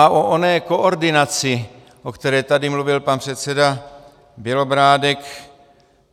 A o oné koordinaci, o které tady mluvil pan předseda Bělobrádek.